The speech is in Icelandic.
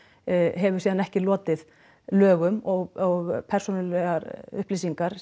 hefur síðan ekki lotið lögum og persónulegar upplýsingar